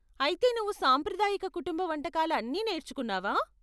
అయితే నువ్వు సాంప్రదాయక కుటుంబ వంటకాలు అన్నీ నేర్చుకున్నావా?